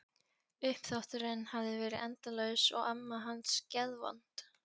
Uppþvotturinn hafði verið endalaus og amma hans geðvond.